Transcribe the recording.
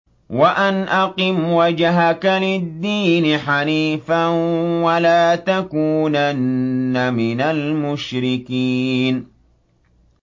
وَأَنْ أَقِمْ وَجْهَكَ لِلدِّينِ حَنِيفًا وَلَا تَكُونَنَّ مِنَ الْمُشْرِكِينَ